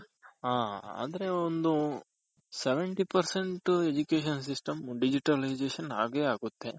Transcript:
ಹ ಆದ್ರೆ ಒಂದು Seventy percent Education system ಆಗೇ ಆಗುತ್ತೆ